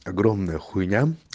огромная хуйня